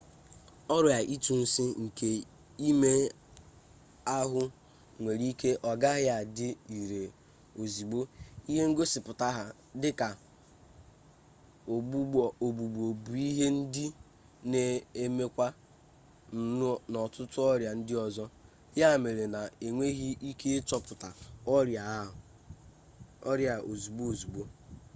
ọrịa ịtụ nsị nke ime ahụ nwere ike ọ gaghị adị ire ozigbo ihe ngosipụta ya dịka ọgbụgbọ bụ ihe ndị na-emekwa n'ọtụtụ ọrịa ndị ọzọ ya mere na enweghi ike ịchọpụta ọrịa a ozigbo ozigbo